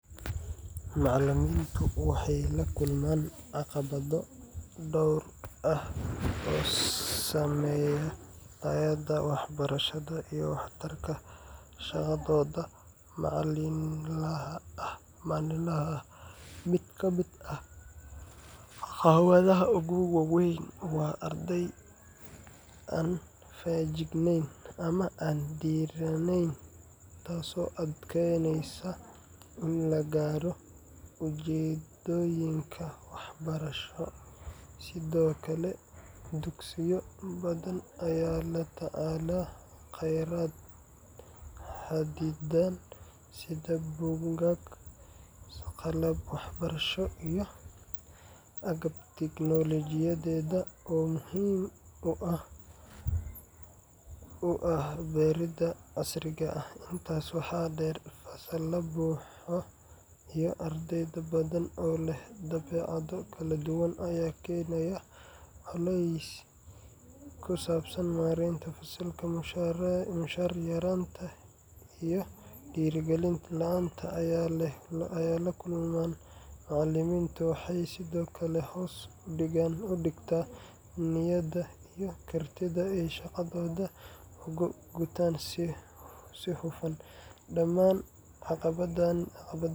Macalimiintu waxay la kulmaan caqabado dhowr ah oo saameeya tayada waxbarashada iyo waxtarka shaqadooda maalinlaha ah. Mid ka mid ah caqabadaha ugu waaweyn waa arday aan feejignayn ama aan dhiirranayn, taasoo adkeyneysa in la gaaro ujeedooyinka waxbarasho. Sidoo kale, dugsiyo badan ayaa la tacaala khayraad xaddidan sida buugaag, qalab waxbarasho iyo agab tiknoolajiyadeed oo muhiim u ah baridda casriga ah. Intaas waxaa dheer, fasallada buuxa iyo arday badan oo leh dabeecado kala duwan ayaa keenaya culays ku saabsan maareynta fasalka. Mushaar yaraanta iyo dhiirrigelin la'aanta ay la kulmaan macalimiintu waxay sidoo kale hoos u dhigtaa niyadda iyo kartida ay shaqadooda ugu gutaan si hufan. Dhamaan caqabadahani